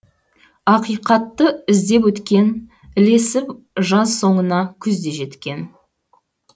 ақиқатты іздеп өткен ілесіп жаз соңына күз де жеткен